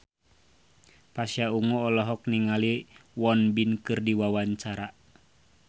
Pasha Ungu olohok ningali Won Bin keur diwawancara